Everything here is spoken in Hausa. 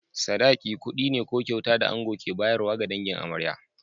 Sadaki, kuɗi ne ko kyauta da ango ke bayarwa ga dangin amarya.